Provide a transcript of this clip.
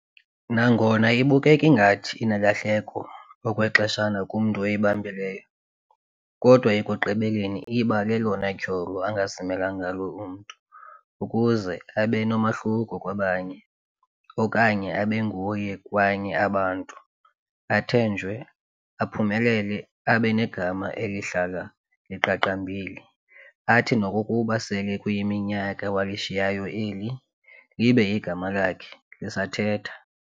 Nangona ibukeka ngathi inelahleko okwexeshana kumntu oyibambileyo, kodwa ekugqibeleni iba lelona tyholo angazimela ngalo umntu, ukuze abenomahluko kwabanye okanye abenguye kwanye abantu, athenjwe, aphumelele, abe negama eliyakuhlala liqaqambile, athi nokokuba sele kuyiminyaka walishiyayo eli, libe igama lakhe lakhe lisathetha.